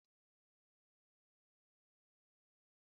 Kedu uru nri makaroni bara?